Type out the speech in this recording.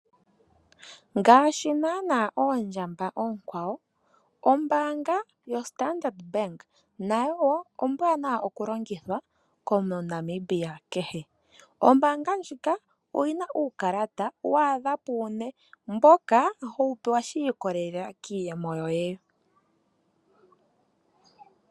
Ngaashi naanaa oondjamba oonkwawo ombaanga yoStandard Bank nayo wo ombwaanawa okulongithwa komuntu Omunamibia kehe. Ombaanga ndjika oyi na uukalata wa adha puune mboka howu pewa shi ikolelela kiiyemo yoye.